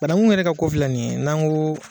Banangu yɛrɛ ka ko filɛ nin ye n'an ko